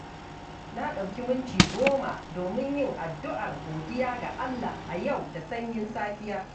Na ɗauki minti goma domin yin addu’ar godiya ga Allah a yau da sanyin safiya.